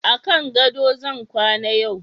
a kan gado zan kwana yau